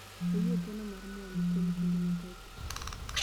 Oyie keno mar mwandu kwom kinde mathoth